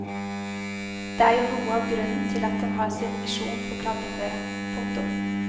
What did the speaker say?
Det er jo noe av grunnen til at den har sin misjon på kladdeføre. punktum